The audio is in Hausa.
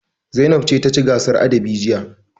Zainab ce ta ci gasar adabi jiya.